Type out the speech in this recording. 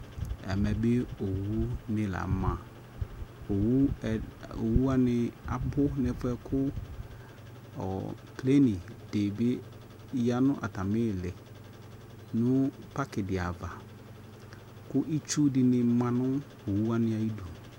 Ɛmɛ bi owu ni la ma Owu ɛd owu wani abʋ nʋ ɛfʋɛ kʋ ɔ treni di bi ya nʋ atami ili nʋ paki di ava, kʋ itsu dini ma nʋ owu wani ayidu